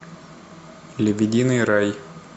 лебединый рай